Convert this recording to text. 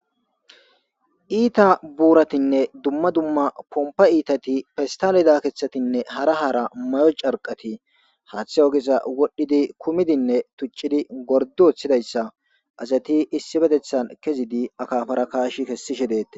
iita buuratinne dumma dumma pompa iitati festalida keeththatinne hara haara may7o carqati haaththe ogesa wodhdhidi kumidinne tuccidi gordo oththidayssa asati issi betethan kezidi akafara kaash kessishe deette